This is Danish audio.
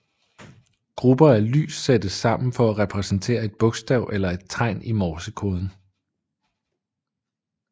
Grupper af lys sættes sammen for at repræsentere et bokstav eller et tegn i morsekoden